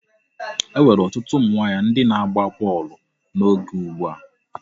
E nwere otu ụmụ nwaanyị ndị na-agba bọọlụ n'oge ugbu a.